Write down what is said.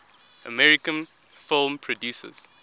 american film producers